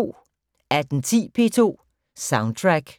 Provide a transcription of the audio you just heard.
18:10: P2 Soundtrack